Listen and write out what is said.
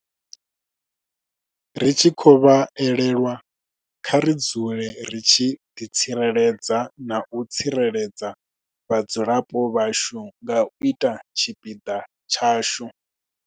Ri tshi khou vha elelwa, kha ri dzule ri tshi ḓi tsireledza na u tsireledza vhadzulapo vhashu nga u ita tshipiḓa tshashu.